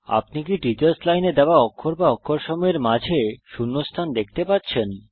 আপনি কি teachers line এ দেওয়া অক্ষর বা অক্ষর সমূহের মাঝে শূণ্যস্থান দেখতে পাচ্ছেন